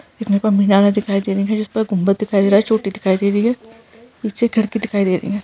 देखने पर मीनारे दिखाई दे रही हैं जिसपे गुम्मद दिखाई दे रहा है चोटी दिखाई दे रही है नीचे खिड़की दिखाई दे रही है।